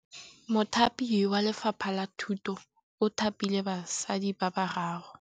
Mothapi wa Lefapha la Thutô o thapile basadi ba ba raro.